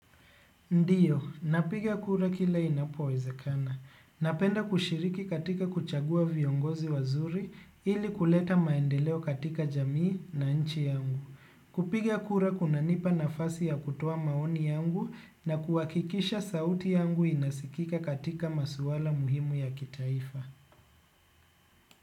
Ndio, napigia kura kila inapowezekana. Napenda kushiriki katika kuchagua viongozi wazuri ili kuleta maendeleo katika jamii na nchi yangu. Kupigia kura kuna nipa nafasi ya kutoa maoni yangu na kuhakikisha sauti yangu inasikika katika masuala muhimu ya kitaifa.